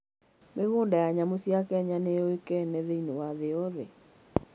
Mĩgũnda ya nyamũ cia Kenya nĩ yũĩkaine thĩinĩ wa thĩ yothe.